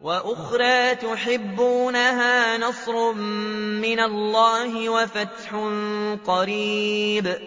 وَأُخْرَىٰ تُحِبُّونَهَا ۖ نَصْرٌ مِّنَ اللَّهِ وَفَتْحٌ قَرِيبٌ ۗ